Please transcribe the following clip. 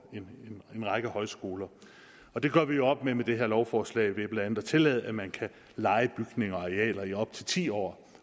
en række højskoler og det gør vi op med med det her lovforslag ved blandt andet at tillade at man kan leje bygninger og arealer i op til ti år